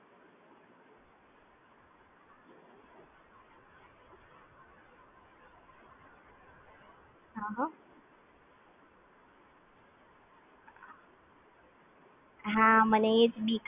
મને એજ ચિંતા હતી, કે કસો મિસયુઝ થશે કે નહિ થાય કેમકે એવું કે બેન્કની વસ્તુ આવું છે કે થોડું એટલે રાખીએ એટલું સારું છે, પણ આ કેવું કે બધું ઓપન તાઈ જાય તો પછી આપડી Security થોડી જોખમ માં મુકાતી હોય છે